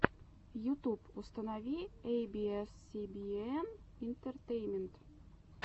ютуб установи эй би эс си би эн интертеймент